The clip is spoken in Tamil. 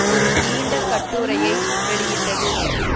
ஒரு நீண்ட கட்டுரையை வெளியிட்டது